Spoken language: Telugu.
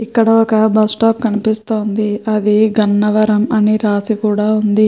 ఇక్కడ ఒక బస్టాప్ కనిపిస్తుంది. అది గన్నవరం అని రాసి కూడ ఉంది.